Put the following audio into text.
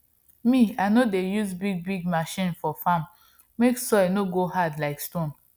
me i no dey use bigbig machines for farm make soil no go hard like stone